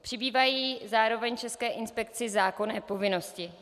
Přibývají zároveň české inspekci zákonné povinnosti.